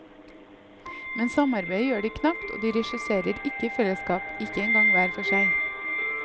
Men samarbeide gjør de knapt, og de regisserer ikke i fellesskap, ikke engang hver for seg.